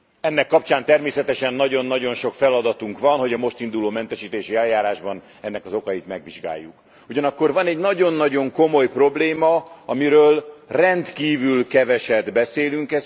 Ennek kapcsán természetesen nagyon nagyon sok feladatunk van, hogy a most induló mentesítési eljárásban ennek az okait megvizsgáljuk, ugyanakkor van egy nagyon nagyon komoly probléma, amiről rendkívül keveset beszélünk.